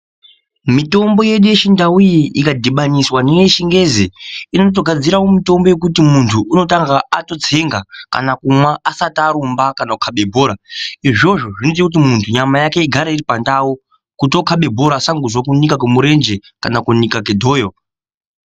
Mitombo yedu yechindau iyi ikadhibaniswa neyechingezi inotogadzirawo mitombo yekuti muntu unotanga atotsenga kana kumwa asati arumba kana kukabe bhora izvozvo zvinoita kuti muntu agre nyama yake iripandau kuti okabe bhora asangozwe kubika kemurenje kana kunika kedhoyo.